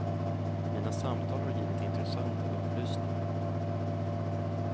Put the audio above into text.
Mina samtal har givit intressanta upplysningar.